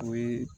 O ye